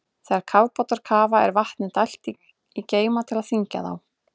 Þegar kafbátar kafa er vatni dælt í geyma til að þyngja þá.